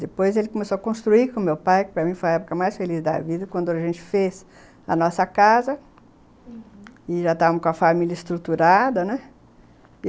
Depois ele começou a construir com o meu pai, que para mim foi a época mais feliz da vida, quando a gente fez a nossa casa, uhum... e já estávamos com a família estruturada, né?